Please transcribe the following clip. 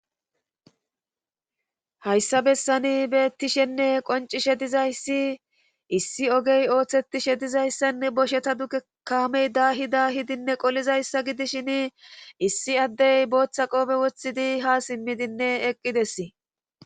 hayssa bessani beettishenne qoncishe dizayssi issi ogey ooththetishe dizayssanne bosheta duke kaamey da hida hidinne qolizayssa gidishin issi addey booththa qoobe wothidi ha simmidinne eqqidess